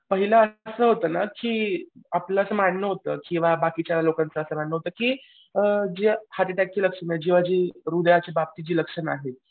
पहिला असं होतं ना की आपल्यात मानणं होतं किंवा बाकीच्या लोकांचं असं मानणं होतं की अ जी हर्ट अटॅकची लक्षणं किंवा जेंव्हा जी हृदयाच्या बाबतीची जी लक्षणं आहेत